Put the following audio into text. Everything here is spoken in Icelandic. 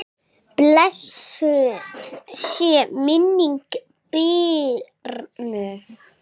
Blessuð sé minning Birnu.